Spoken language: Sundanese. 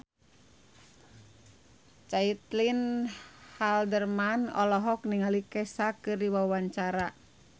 Caitlin Halderman olohok ningali Kesha keur diwawancara